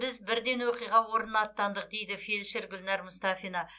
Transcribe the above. біз бірден оқиға орнына аттандық дейді фельдшер гүлнар мұстафина